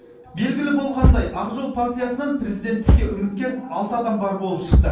белгілі болғандай ақ жол партиясынан президенттікке үміткер алты адам бар болып шықты